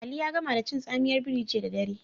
Ali ya gama da cin tsamiyar biri jiya da dare.